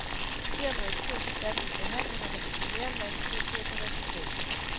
Dermed er kursen sat mod forhandlinger, der kan blive mere end vanskelige at føre til resultat.